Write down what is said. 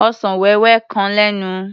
Ọsàn wéwé kan lẹ́nu.